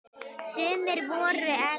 Sumir voru efins.